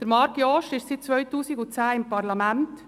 Marc Jost ist seit 2010 im Parlament.